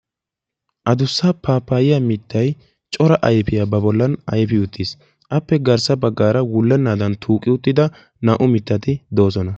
addussa paapayiya miitay corra ayfiya ayfi uttissi appe garssa bagarakka wulenadani tuuqi uttida mittaykka beettessi.